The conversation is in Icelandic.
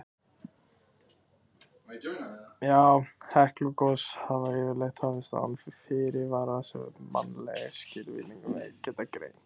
Heklugos hafa yfirleitt hafist án fyrirvara sem mannleg skilningarvit geta greint.